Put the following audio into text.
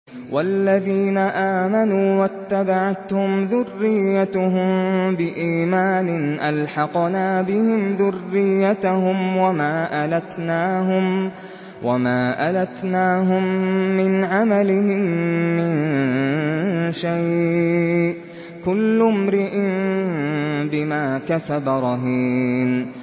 وَالَّذِينَ آمَنُوا وَاتَّبَعَتْهُمْ ذُرِّيَّتُهُم بِإِيمَانٍ أَلْحَقْنَا بِهِمْ ذُرِّيَّتَهُمْ وَمَا أَلَتْنَاهُم مِّنْ عَمَلِهِم مِّن شَيْءٍ ۚ كُلُّ امْرِئٍ بِمَا كَسَبَ رَهِينٌ